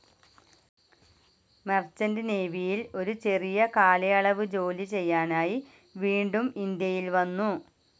Merchant നേവിയിൽ ഒരു ചെറിയ കാലയളവ് ജോലി ചെയ്യാനായി വീണ്ടും ഇന്ത്യയിൽ വന്നു.